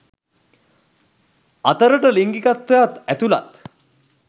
අතරට ලිංගිකත්වයත් ඇතුලත්.